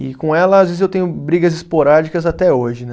E com ela, às vezes, eu tenho brigas esporádicas até hoje, né?